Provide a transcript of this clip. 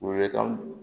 Weele kan